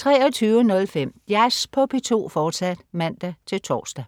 23.05 Jazz på P2, fortsat (man-tors) 00.00